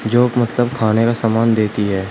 जो मतलब खाने का सामान देती है।